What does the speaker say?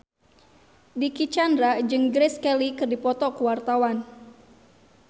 Dicky Chandra jeung Grace Kelly keur dipoto ku wartawan